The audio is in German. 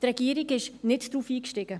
die Regierung stieg nicht darauf ein.